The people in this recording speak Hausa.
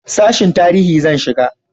sashin tarihi zan shiga